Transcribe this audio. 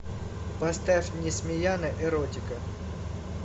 поставь несмеяна эротика